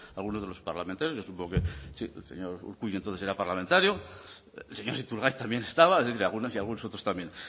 algunos de los parlamentarios yo supongo que sí el señor urkullu entonces era parlamentario el señor iturgaiz también estaba es decir algunos y algunos otros también